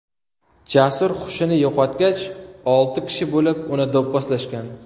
Jasur hushini yo‘qotgach, olti kishi bo‘lib uni do‘pposlashgan .